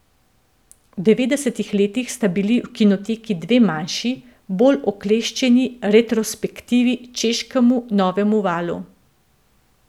V devetdesetih letih sta bili v Kinoteki dve manjši, bolj okleščeni retrospektivi češkemu novemu valu.